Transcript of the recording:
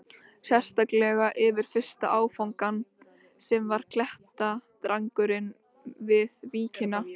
Sérstaklega yfir fyrsta áfangann, sem var klettadrangurinn við víkina.